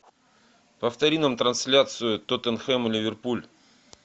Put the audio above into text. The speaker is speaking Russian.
повтори нам трансляцию тоттенхэм ливерпуль